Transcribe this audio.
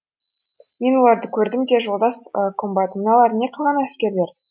мен оларды көрдім де жолдас комбат мыналар не қылған әскерлер